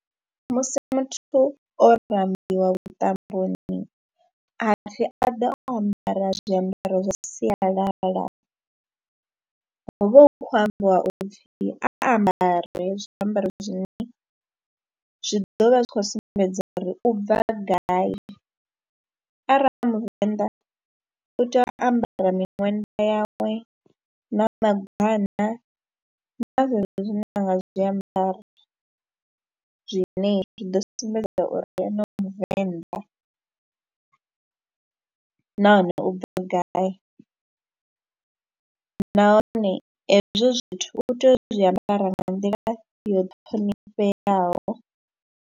Musi muthu o rambiwa vhuṱamboni ha pfhi a ḓe o ambara zwiambaro zwa sialala, hu vha hu khou ambiwa u pfhi a ambare zwiambaro zwine zwi ḓo vha zwi khou sumbedza uri u bva gai, arali a muvenḓa u tea u ambara miṅwenda yawe na magwana na zwezwo zwine a nga zwi ambara zwine zwi ḓo sumbedza uri ene u muvenḓa nahone u bva gai nahone hezwo zwithu u tea uri zwi ambara nga nḓila yo ṱhonifheaho.